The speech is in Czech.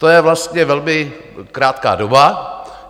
To je vlastně velmi krátká doba.